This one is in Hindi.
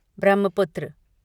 ब्रह्मपुत्र